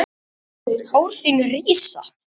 Hár þín rísa.